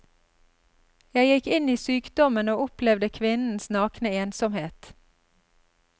Jeg gikk inn i sykdommen og opplevde kvinnens nakne ensomhet.